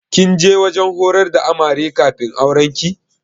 Kin je wajen horar da Amare kafin aurenki?